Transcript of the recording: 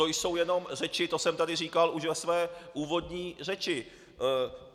To jsou jenom řeči, to jsem tady říkal už ve své úvodní řeči.